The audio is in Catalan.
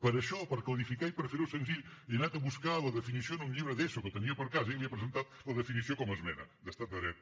per això per clarificar i per fer ho senzill he anat a buscar la definició en un llibre d’eso que tenia per casa i li he presentat la definició com a esmena d’estat de dret